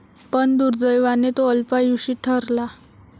पण दुर्दैवाने, तो अल्पायुषी ठरला.